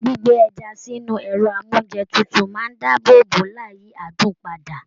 Gbígbé ẹja sínú ẹrọ amounjẹ tútù máa n dáàbò bo láì yí adùn pada.